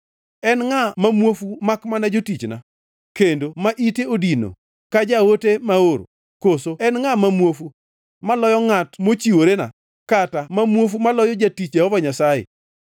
En ngʼa ma muofu makmana jotichna, kendo ma ite odino ka jaote maoro? Koso en ngʼa ma muofu maloyo ngʼat mochiworena, kata ma muofu maloyo jatich Jehova Nyasaye?